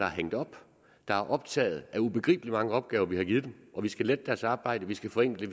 er hængt op er optaget af de ubegribelig mange opgaver vi har givet dem vi skal lette deres arbejde vi skal forenkle